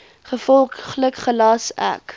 gevolglik gelas ek